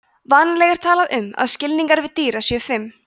vanalega er talað um að skilningarvit dýra séu fimm